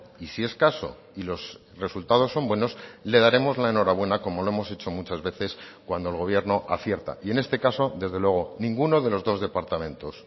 y si es caso y los resultados son buenos le daremos la enhorabuena como lo hemos hecho muchas veces cuando el gobierno acierta y en este caso desde luego ninguno de los dos departamentos